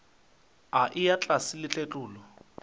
a eya tlase le tletlolo